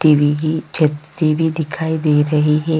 TV की छत्ती भी दिखाई दे रही है।